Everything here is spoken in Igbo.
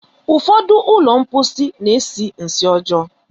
Ụfọdụ ụlọ mposi na-esi nsị ọjọọ.